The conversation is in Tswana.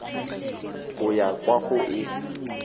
go ya kwa go e